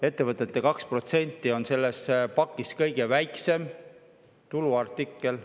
Ettevõtete 2% on selles paketis kõige väiksem tuluartikkel.